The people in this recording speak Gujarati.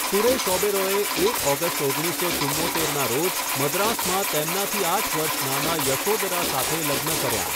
સુરેશ ઓબેરોયે એક ઓગસ્ટ ઓગણીસો ચુંમોતેરના રોજ મદ્રાસમાં તેમનાથી આઠ વર્ષ નાના યશોદરા સાથે લગ્ન કર્યા.